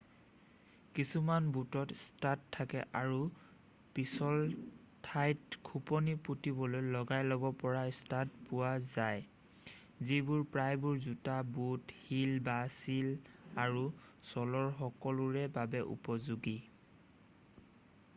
কিছুমান বুটত ষ্টাড থাকে আৰু পিছল ঠাইত খোপনি পুতিবলৈ লগাই ল'ব পৰা ষ্টাড পোৱা যায় যিবোৰ প্ৰায়বোৰ জোতা বুট হীল বা হীল আৰু ছ'লৰ সকলোৰে বাবে উপযোগী